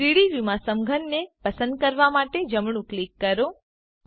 3ડી વ્યુંમાં સમઘનને પસંદ કરવા માટે જમણું ક્લિક કરો